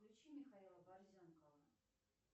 включи михаила борзенкова